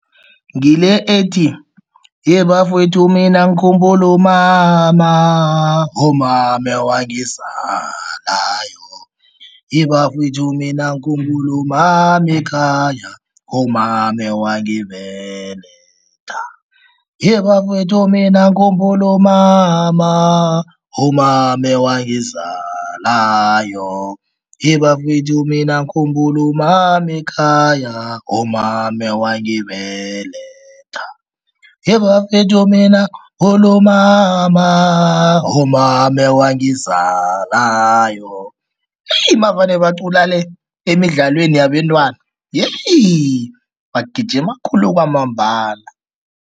Ngile ethi, ye bafowethu mina ngikhumbule umama, umama ewangizalayo ye bafowethu mina ngikhumbule umama ekhaya, umama ewangibeletha ye bafowethu mina ngikhumbule umama, umama ewangizalayo ye bafowethu mina ngikhumbule umama ekhaya, umama ewangibeletha ye bafowethu mina umama, umama ewangizalayo navane bacula le emidlalweni yabentwana bagijima khulu kwamambala.